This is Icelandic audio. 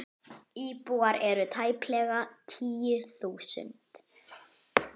Tigin svanni á höfði ber.